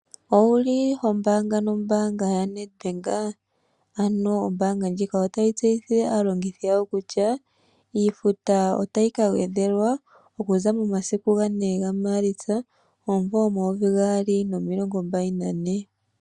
Owu li ho mbaanga nombaanga yaNedbank? Ano, ombaanga ndjika otayi tseyithile aalongithi yawo kutya iifuta otayi ka gwedhelwa okuza momasiku 4 Maalitsa 2024.